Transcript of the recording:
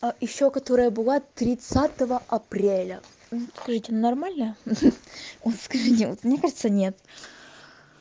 а ещё которая была тридцатого апреля скажите нормально ха-ха вот скажите вот мне кажется нет